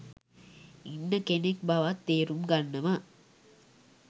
ඉන්න කෙනෙක් බවත් තේරුම් ගන්නවා.